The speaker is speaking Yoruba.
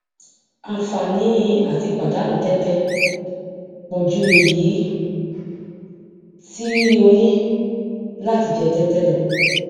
àǹfààní àti pàdánù tẹtẹ pọ ju èyí tí o ní láti jẹ tẹtẹ lọ